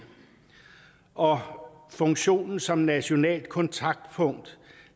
og funktionen som nationalt kontaktpunkt